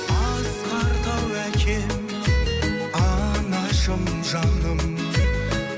асқар тау әкем анашым жаным